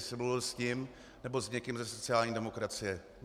Jestli mluvil s ním nebo s někým ze sociální demokracie.